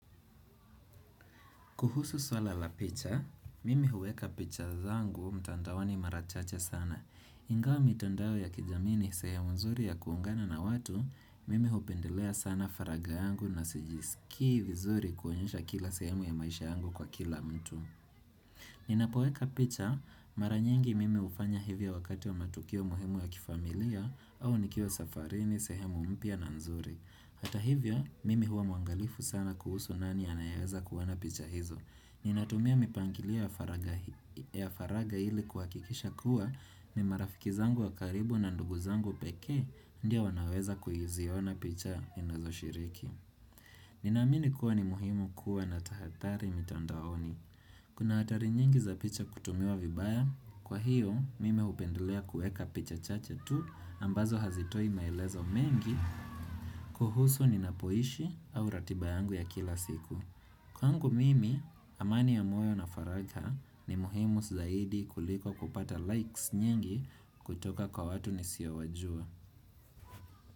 Kuhusu swala la picha, mimi huweka picha zangu mtandaoni mara chache sana. Ingawa mitandao ya kijamii ni sehemu nzuri ya kuungana na watu, mimi hupendelea sana faraga yangu na sijisikii vizuri kuonyesha kila sehemu ya maisha yangu kwa kila mtu. Ninapoweka picha, mara nyingi mimi hufanya hivyo wakati wa matukio muhimu ya kifamilia au nikiwa safarini sehemu mpya na nzuri. Hata hivyo, mimi huwa mwangalifu sana kuhusu nani anayeweza kuona picha hizo. Ninatumia mipangilia ya faraga ili kuhakikisha kuwa ni marafiki zangu wa karibu na ndugu zangu pekee ndio wanaweza kuziona picha inazoshiriki. Ninaamini kuwa ni muhimu kuwa na tahathari mitandaoni. Kuna hatari nyingi za picha kutumiwa vibaya, kwa hiyo mimi hupendelea kuweka picha chache tu ambazo hazitoi maelezo mengi kuhusu ninapoishi au ratiba yangu ya kila siku. Kwangu mimi, amani ya moyo na faraka ni muhimu zaidi kuliko kupata likes nyingi kutoka kwa watu nisiowajua.